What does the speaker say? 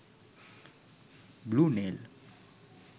blue nail